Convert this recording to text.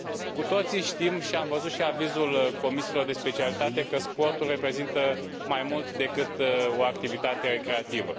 Cu toții știm, și am văzut și avizul comisiilor de specialitate, că sportul reprezintă mai mult decât o activitate recreativă.